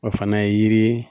O fana ye yiri ye